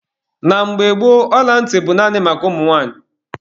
Na mgbe gboo, ọla ntị bụ naanị maka ụmụ nwanyị.